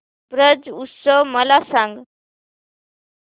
ब्रज उत्सव मला सांग